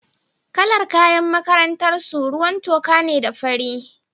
Kalar kayan makarantar su ruwan toka ne da fari.